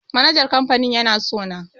Manajan kamfanin yana sona